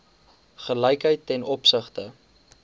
gelykheid ten opsigte